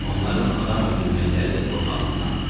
Onların adam öldürməkləri də qorxaqlıqdandı.